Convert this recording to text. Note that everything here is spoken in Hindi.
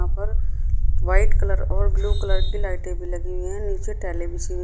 यहाँ पर व्हाइट कलर और ब्लू कलर की लाइटें भी लगी हुई हैं। नीचे टाइलें बिछी --